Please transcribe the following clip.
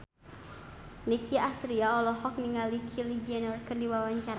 Nicky Astria olohok ningali Kylie Jenner keur diwawancara